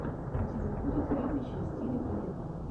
у тебя будет фильмище в стиле балета